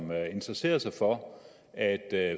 interesserer sig for at